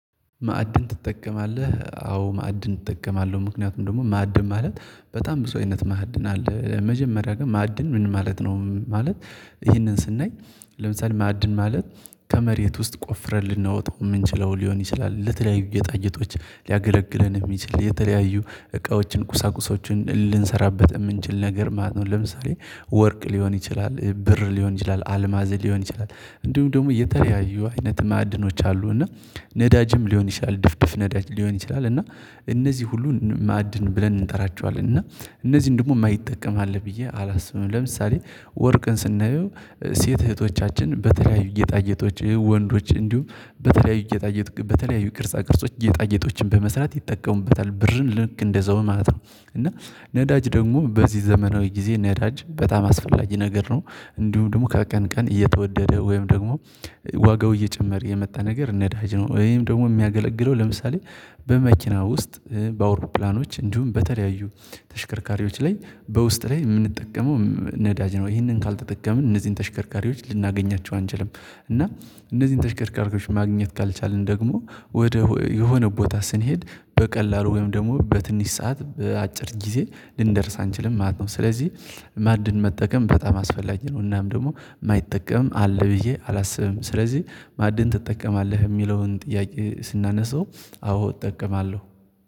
ማዕድን ትጠቀማለህ አዎ ማዕድን እጠቀማለሁ ምክንያቱም ደግሞ ማዕድን ማለት በጣም ብዙ አይነት ማዕድን አለ መጀመሪያ ግን ማዕድን ምን ማለት ነው? ማለት ይሄንን ስናይ ለምሳሌ ማዕድን ማለት ከመሬት ውስጥ ቆፍረን ልናወጣው የምንችለው ሊሆን ይችላል ለተለያዩ ጌጣጌጦች ሊያገለግለን የሚችል የተለያዩ እቃዎችን ቁሳቁሶችን ልንሰራበት የምንችል ነገር ማለት ነው። ለምሳሌ ወርቅ ሊሆን ይችላል ብር ሊሆን ይችላል አልማዝ ሊሆን ይችላል። እንዲሁም ደግሞ የተለያዩ አይነት ማዕድኖች አሉ እና ነዳጅም ሊሆን ይችላል ድፍድፍ ነዳጅ ሊሆን ይችላል እና እነዚህ ሁሉ ማዕድን ብለን እንጠራቸዋለን እና እነዚህን ደግሞ የማይጠቀም አለ ብዬ አላስብም። ለምሳሌ ወርቅን ስናየው ሴት እህቶቻችን በተለያዩ ጌጣገጦች ይሄ ወንዶች እንዲሁም በተለያዩ ቅርጻ ቅርጾች ጌጣጌጦችን በመስራት ይጠቀሙበታል ብርን ልክ እንደዛው ማለት ነው። እና ነዳጅ ደግሞ በዚህ ዘመናዊ ጊዜ ነዳጅ በጣም አስፈላጊ ነገር ነው። እንዲሁ ደግሞ ከቀን ቀን እየተወደደ ወይም ደግሞ ዋጋው እየጨመረ የመጣ ነገር ነዳጅ ነው ወይም ደግሞ የሚያገለግለው ለምሳሌ በመኪና ውስጥ በአውሮፕላኖች እንዲሁም በተለያዩ ተሽከርካሪዎች ላይ በውስጥ ላይ የምንጠቀመው ነዳጅ ነው። ይህንን ካልተጠቀምን እነዚህን ተሽከርካሪዎች ልናገኛቸው አንችልም እና እነዚህን ተሽከርካሪዎች ማግኘት ካልቻልን ደግሞ ወደ የሆነ ቦታ ስንሄድ በቀላሉ ወይም ደግሞ በትንሽ ሰዓት በአጭር ጊዜ ልንደርስ አንችልም ማለት ነው። ስለዚህ ማዕድን መጠቀም በጣም አስፈላጊ ነው እናም ደግሞ የማይጠቀም አለ ብዬ አላስብም። ስለዚህ ማዕድን ትጠቀማለህ የሚለውን ጥያቄ ስናነሳው አዎ እጠቀማለሁ